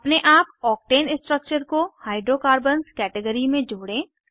अपने आप octane structure को हाइड्रोकार्बन्स कैटेगरी में जोड़ें